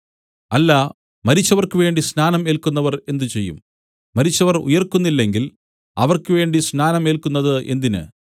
അല്ല മരിച്ചവർക്കുവേണ്ടി സ്നാനം ഏല്ക്കുന്നവർ എന്ത് ചെയ്യും മരിച്ചവർ ഉയിർക്കുന്നില്ലെങ്കിൽ അവർക്കുവേണ്ടി സ്നാനം ഏല്ക്കുന്നത് എന്തിന്